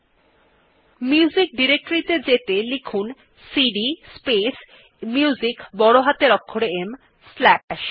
এখন music directory ত়ে যেতে লিখুন সিডি স্পেস Musicবড় হাতের অক্ষরে ম স্লাশ